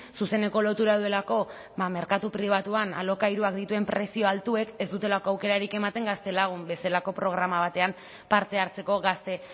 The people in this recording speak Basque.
zuzeneko lotura duelako merkatu pribatuan alokairuak dituen prezioa altuek ez dutelako aukerarik ematen gaztelagun bezalako programa batean parte hartzeko gazte